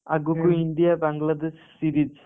ଆଗୁକୁ India Bangladesh series